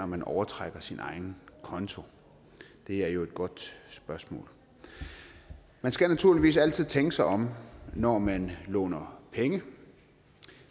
man overtrækker sin konto det er jo et godt spørgsmål man skal naturligvis altid tænke sig om når man låner penge